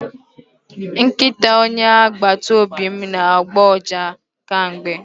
Nkịta onye agbata obi m na-agbọ ụja kemgbe